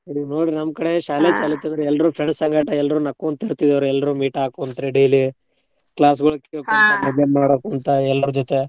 ಈಗ್ ನೋಡ್ರಿ ನಮ್ ಕಡೆ ಶಾಲಿ ಚಾಲು ಇರ್ತಾವ್ ಬಿಡ್ರಿ ಎಲ್ರೂ friends ಸಂಗಟ ಎಲ್ರೂ ನಕ್ಕೊಂತ ಇರ್ತೇವ್ ಅವ್ರ್ ಎಲ್ರೂ meet ಆಕೋನ್ತ್ರೆ daily class ಗುಳ್ ಮಜಾ ಮಾಡಕುಂತಾ ಎಲ್ಲರ್ ಜೊತೆ.